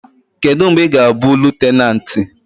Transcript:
Kedu mgbe ị ga-abụ lutenanti?